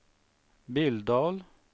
Billdal